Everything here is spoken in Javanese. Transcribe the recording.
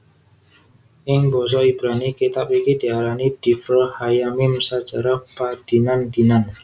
Ing basa Ibrani kitab iki diarani divre hayyamim sajarah padinan dinan